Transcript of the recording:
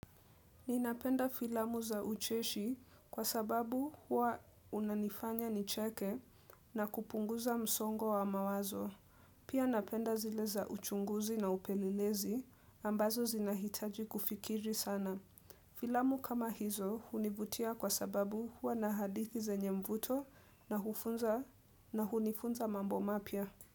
Ninapenda filamu za ucheshi kwa sababu huwa unanifanya nicheke na kupunguza msongo wa mawazo. Pia napenda zile za uchunguzi na upelelezi ambazo zinahitaji kufikiri sana. Filamu kama hizo hunivutia kwa sababu huwa na hadithi zenye mvuto na hunifunza mambo mapya.